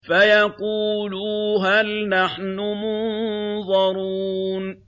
فَيَقُولُوا هَلْ نَحْنُ مُنظَرُونَ